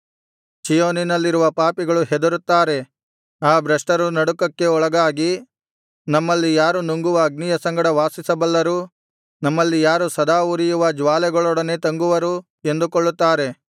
ಚೀಯೋನಿನಲ್ಲಿರುವ ಪಾಪಿಗಳು ಹೆದರುತ್ತಾರೆ ಆ ಭ್ರಷ್ಟರು ನಡುಕಕ್ಕೆ ಒಳಗಾಗಿ ನಮ್ಮಲ್ಲಿ ಯಾರು ನುಂಗುವ ಅಗ್ನಿಯ ಸಂಗಡ ವಾಸಿಸಬಲ್ಲರು ನಮ್ಮಲ್ಲಿ ಯಾರು ಸದಾ ಉರಿಯುವ ಜ್ವಾಲೆಗಳೊಡನೆ ತಂಗುವರು ಎಂದುಕೊಳ್ಳುತ್ತಾರೆ